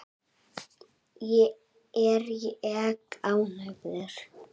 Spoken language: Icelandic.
Er ég ánægður?